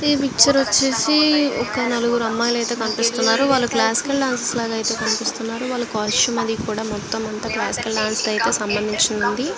ఈ పిక్చర్ వచ్చేసి ఒక్క నలుగురు అమ్మాయిలు అయితే కనిపిస్తున్నారు. వాళ్ళు క్లాసికల్ డాన్సర్స్ లాగా అయితే మనకు కనిపిస్తున్నారు. వాళ్ళ కాస్ట్యూమ్ అది కూడ మొత్తం అంతా క్లాసికల్ డాన్స్ కి అయితే సంబంధించి ఉంది.